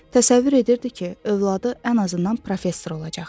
Təsəvvür edirdi ki, övladı ən azından professor olacaq.